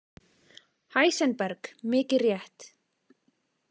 Heisenberg, mikið rétt.